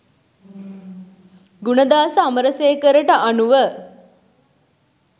ගුණදාස අමරසේකරට අනුව